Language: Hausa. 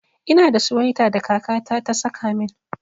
Ina da suwaita da kaka ta ta saka min.